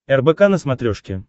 рбк на смотрешке